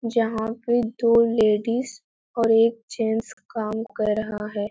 जहाँ पे दो लेडीज और एक जेंट्स काम कर रहा है।